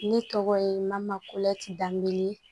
Ne tɔgɔ ye mako danbe